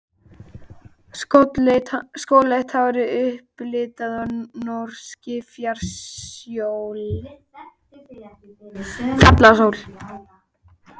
Skolleitt hárið upplitað af norskri fjallasól.